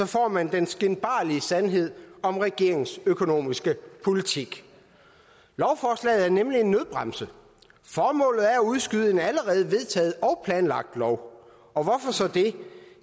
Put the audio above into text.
får man den skinbarlige sandhed om regeringens økonomiske politik lovforslaget er nemlig en nødbremse formålet er at udskyde en allerede vedtaget og planlagt lov og hvorfor så det